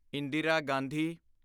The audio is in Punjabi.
ਇੰਦਰਾ ਗਾਂਧੀ